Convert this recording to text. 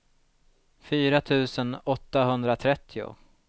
fyra tusen åttahundratrettio